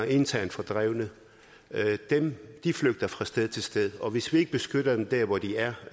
internt fordrevne de flygter fra sted til sted og hvis vi ikke beskytter dem der hvor de er